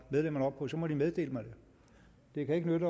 medlemmerne op på så må de meddele mig det det kan ikke nytte